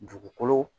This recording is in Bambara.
Dugukolo